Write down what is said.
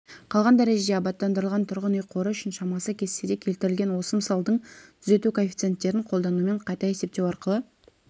қалған дәрежеде абаттандырылған тұрғын үй қоры үшін шамасы кестеде келтірілген осы мысалдың түзету коэффициенттерін қолданумен қайта есептеу арқылы